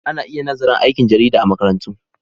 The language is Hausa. Ana iya nazarin aikin jarida a makarantu.